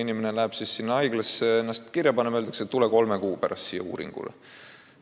Inimene läheb siis haiglasse ennast kirja panema ja talle öeldakse, et tule kolme kuu pärast siia uuringule.